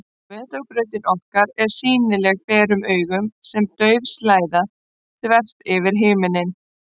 Vetrarbrautin okkar er sýnileg berum augum sem dauf slæða, þvert yfir himinninn.